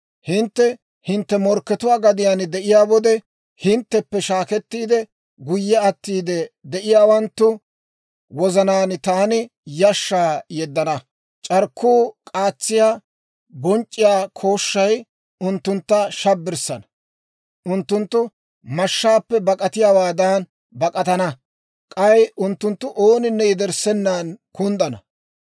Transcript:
«Hintte hintte morkkatuwaa gadiyaan de'iyaa wode, hintteppe shaakettiide guyye attiide de'iyaawanttu wozanaan taani yashshaa yeddana; c'arkkuu k'aatsiyaa bonc'c'iyaa kooshshay unttuntta shabbirana; unttunttu mashshaappe bak'atiyaawaadan bak'atana; k'ay unttunttu ooninne yederssenan kunddana.